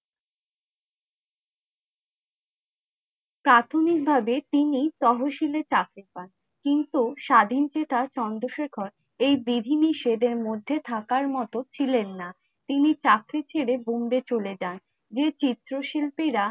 প্রাথমিক ভাবে তিনি তহসিলে চাকরি পান, কিন্তু স্বাধীন চেতা চন্দ্রশেখর ঐ বিধিনিষেধে মধে থাকা মতো ছিলেন না, তিনি চাকরি ছেড়ে বম্বে চলে যান । যে চিত্র শিল্পী রা!